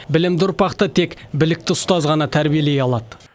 білімді ұрпақты тек білікті ұстаз ғана тәрбиелей алады